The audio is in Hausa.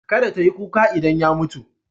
Kada ta yi kuka idan ya mutu.